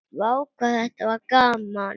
Vá hvað þetta var gaman!!